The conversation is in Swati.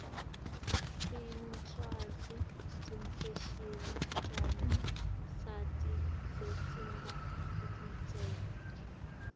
tincwaszi tefashini tisita sati zesingakutsenga